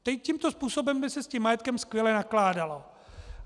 Tímto způsobem by se s tím majetkem skvěle nakládalo.